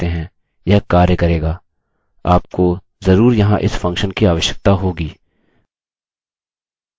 आपको जरूर यहाँ इस फंक्शन की आवश्यकता होगी